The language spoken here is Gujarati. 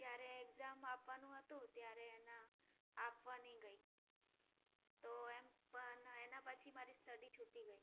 જ્યારે exam આપવાનું હતું ત્યારે એના આપવા નહિ ગઈ. તો એમ પણ એના પછી મારી study છૂટી ગઈ.